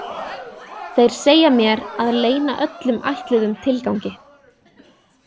Þeir segja mér að leyna öllum ætluðum tilgangi.